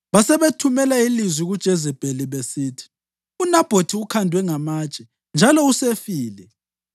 Basebethumela ilizwi kuJezebheli besithi, “UNabhothi ukhandwe ngamatshe njalo usefile.”